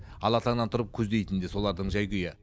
ала таңнан тұрып көздейтіні де солардың жай күйі